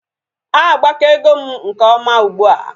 Agbakego m nke ọma ugbua